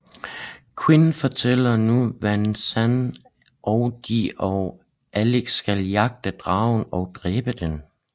Quinn fortæller nu Van Zan og de og Alex skal jagte dragen og dræbe den